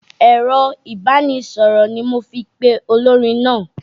Ẹ̀rọ ìbánisọ̀rọ̀ ni mo fi pe olórin náà.